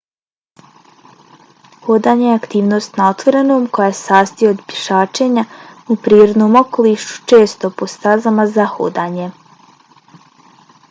hodanje je aktivnost na otvorenom koja se sastoji od pješačenja u prirodnom okolišu često po stazama za hodanje